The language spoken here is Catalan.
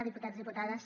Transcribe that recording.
diputats diputades